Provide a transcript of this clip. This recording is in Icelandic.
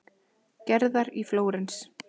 Gerðar í Flórens.